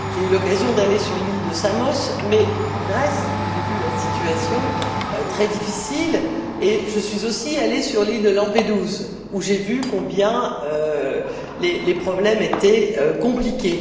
J'ai eu l'occasion d'aller sur l'île de Samos, en Grèce, où j'ai vu la situation très difficile et je suis aussi allée sur l'île de Lampedusa, où j'ai vu combien les problèmes étaient compliqués.